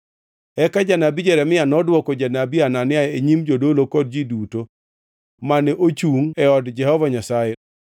Eka janabi Jeremia nodwoko janabi Hanania e nyim jodolo kod ji duto mane ochungʼ e od Jehova Nyasaye.